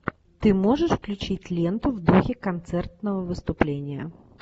ты можешь включить ленту в духе концертного выступления